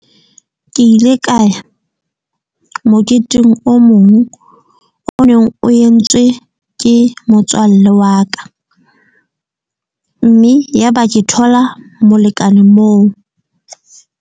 Ke ile ka ya moketeng o mong o neng o entswe ke motswalle wa ka. Mme ya ba ke thola molekane moo.